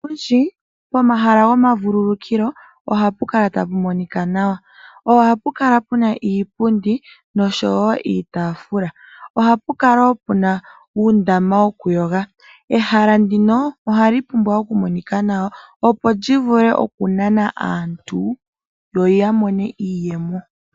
Pomahala gomavululukilo ohapu kala tapu monika nawa. Ohapu kala puna iipundi noshowo iitaafula ohapu kala wo puna uundama woku yoga. Ehala ndino ohali pumbwa wo oku monika nawa opo lyi vule oku nana aantu, yo ya mone iiyemo.